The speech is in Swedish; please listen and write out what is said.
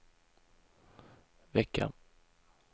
vecka